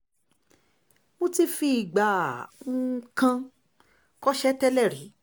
mo ti fìgbà um kan kọ́ṣẹ̀ẹ́ tẹ́lẹ̀ rí